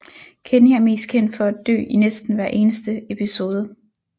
Kenny er mest kendt for at dø i næsten hver eneste episode